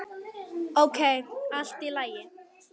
Ókei, allt í lagi.